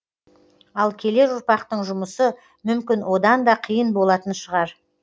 ал келер ұрпақтың жұмысы мүмкін одан да қиын болатын шығар